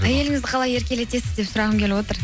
әйеліңізді қалай еркелетесіз деп сұрағым келіп отыр